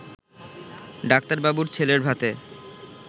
ডাক্তারবাবুর ছেলের ভাতে